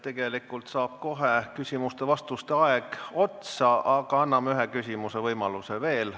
Tegelikult saab kohe küsimuste-vastuste aeg otsa, aga anname ühe küsimuse võimaluse veel.